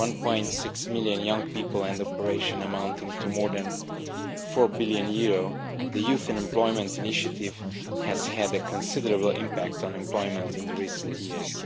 1.6 million young people and operations amounting to more than EUR 4 billion, the Youth Employment Initiative has had a considerable impact on employment in recent years